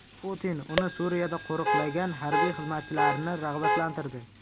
Putin uni Suriyada qo‘riqlagan harbiy xizmatchilarni rag‘batlantirdi.